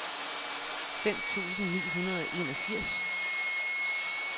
fem tusind ni hundrede og enogfirs